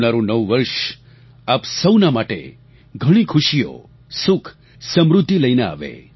આવનારું નવું વર્ષ આપ સૌના માટે ઘણી ખુશીઓ સુખ સમૃદ્ધિ લઈને આવે